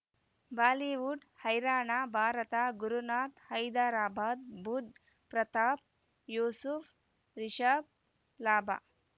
Bollywood ಹೈರಾಣ ಭಾರತ ಗುರುನಾಥ ಹೈದರಾಬಾದ್ ಬುಧ್ ಪ್ರತಾಪ್ ಯೂಸುಫ್ ರಿಷಬ್ ಲಾಭ